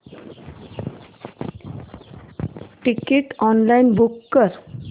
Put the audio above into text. ticket online book कर